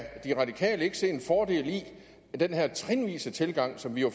radikale venstre ikke se en fordel i at den her trinvise tilgang som vi jo